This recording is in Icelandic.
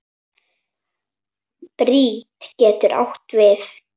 Bríet getur átt við